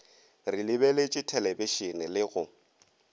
re lebeletše thelebišene le go